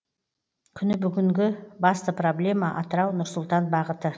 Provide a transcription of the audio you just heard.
күні бүгінгі басты проблема атырау нұр сұлтан бағыты